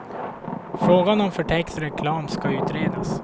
Frågan om förtäckt reklam ska utredas.